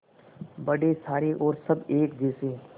बड़े सारे और सब एक जैसे